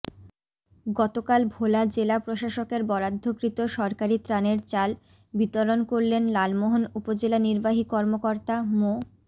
গতকাল ভোলা জেলা প্রশাসকের বরাদ্ধকৃত সরকারি ত্রাণের চাল বিতরণ করলেন লালমোহন উপজেলা র্নিবাহী র্কমর্কতা মো